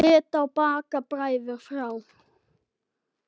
Lít á Bakka bræður þrjá.